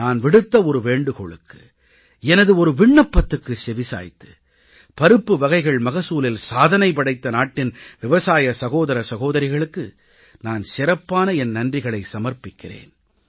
நான் விடுத்த ஒரு வேண்டுகோளுக்கு எனது ஒரு விண்ணப்பத்துக்கு செவி சாய்த்து பருப்புவகைகள் மகசூலில் சாதனை படைத்த நாட்டின் விவசாய சகோதர சகோதரிகளுக்கு நான் சிறப்பான என் நன்றிகளை சமர்ப்பிக்கிறேன்